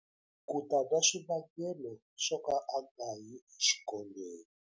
Ku ta na swivangelo swo ka a nga yi exikolweni.